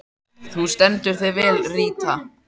Þú stendur þig vel, Ríta!